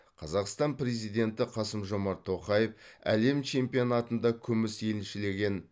қазақстан президенті қасым жомарт тоқаев әлем чемпионатында күміс еншілеген